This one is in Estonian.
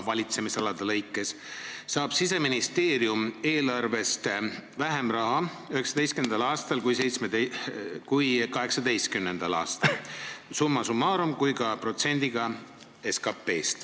Valitsemisalade lõikes saab Siseministeerium eelarvest 2019. aastal vähem raha kui 2018. aastal – nii summa summarum kui ka protsendina SKP-st.